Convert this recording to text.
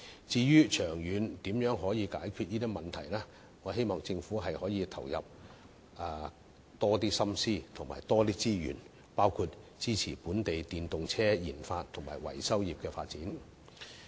至於長遠如何解決問題，我希望政府可以投入更多心思和資源，包括支持本地電動車研發及維修業的發展。